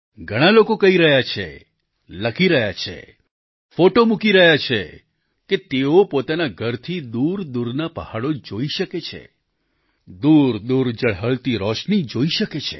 ઘણાં લોકો કહી રહ્યા છે લખી રહ્યા છે ફોટો મૂકી રહ્યા છે કે તેઓ પોતાના ઘરથી દૂરદૂરના પહાડો જોઈ શકે છે દૂરદૂર ઝળહળતી રોશની જોઈ શકે છે